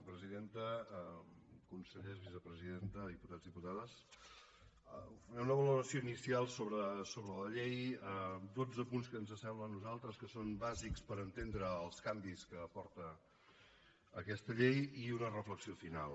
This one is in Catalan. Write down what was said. presidenta consellers vicepresidenta diputats diputades faré una valoració inicial sobre la llei dotze punts que ens sembla a nosaltres que són bàsics per entendre els canvis que porta aquesta llei i una reflexió final